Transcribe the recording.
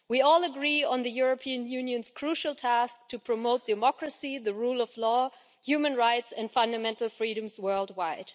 We all agree on the European Union's crucial task of promoting democracy, the rule of law, human rights and fundamental freedoms worldwide.